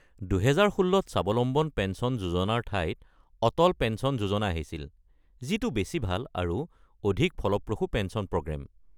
২০১৬ত স্বাৱলম্বন পেঞ্চন যোজনাৰ ঠাইত অটল পেঞ্চন যোজনা আহিছিল, যিটো বেছি ভাল আৰু অধিক ফলপ্ৰসূ পেঞ্চন প্ৰগ্ৰেম।